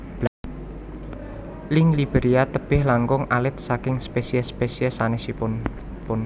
Lynx Iberia tebih langkung alit saking spesies spesies sanesipun